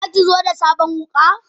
Zaki zo da sabon wuka?